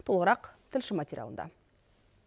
толығырақ тілші материалында